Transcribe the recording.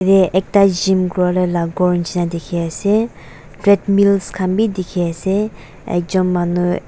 te ekta gym kuriwo lae la dikhiase treadmills khan bi dikhiase ekjon manu.